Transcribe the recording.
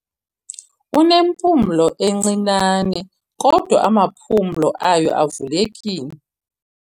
Unempumlo encinane kodwa amaphumla ayo avulekile.